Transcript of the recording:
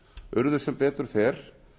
urðu sem betur fer